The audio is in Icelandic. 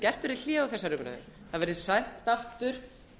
gert verði hlé á þessari umræðu það verði sent aftur